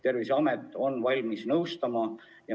Terviseamet on valmis nõustama.